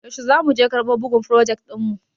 Yaushe za muje karɓo bugun frojet ɗin mu?